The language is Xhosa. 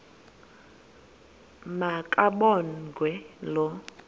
ma kabongwe low